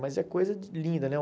Mas é coisa linda, né?